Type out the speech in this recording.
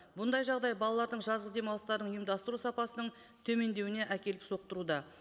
бұндай жағдай балалардың жазғы демалыстарын ұйымдастыру сапасының төмендеуіне әкеліп соқтыруда